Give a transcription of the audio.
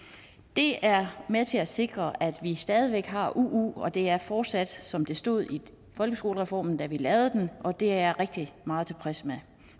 det er med til at sikre at vi stadig væk har uu det er fortsat som det stod i folkeskolereformen da vi lavede den og det er jeg rigtig meget tilfreds med